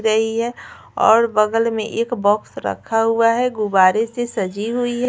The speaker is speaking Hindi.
रही है और बगल में एक बॉक्स रखा हुआ है गुवारे से सजी हुई है।